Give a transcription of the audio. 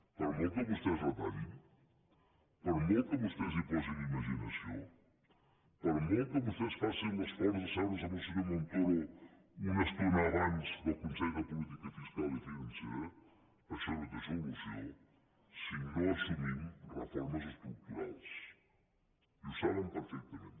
per molt que vostès retallin per molt que vostès hi posin imaginació per molt que vostès facin l’esforç d’asseure’s amb el senyor montoro una estona abans del consell de política fiscal i financera això no té solució si no assumim reformes estructurals i ho saben perfectament